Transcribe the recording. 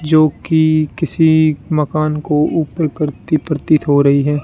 जोकि किसी मकान को ऊपर करती प्रतीत हो रही है।